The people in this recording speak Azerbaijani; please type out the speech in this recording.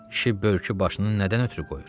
Kişi börkü başını nədən ötrü qoyur?